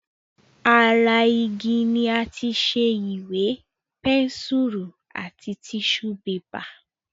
Ara igi ni àti ṣe Ìwé, pẹ́nsùrù àti tíṣù bébà